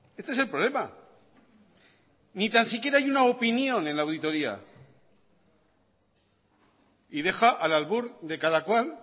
este es el problema ni tan siquiera hay una opinión en la auditoría y deja al albur de cada cual